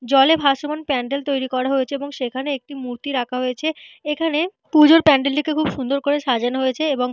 জলে ভাসমান প্যান্ডেল তৈরি করা হয়েছে এবং সেখানে একটি মূর্তি রাখা হয়েছে। এখানে পুজোর প্যান্ডেল টিকে খুব সুন্দর ভাবে সাজানো হয়েছে। এবং।